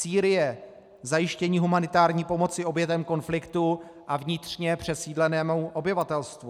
Sýrie, zajištění humanitární pomoci obětem konfliktu a vnitřně přesídlenému obyvatelstvu.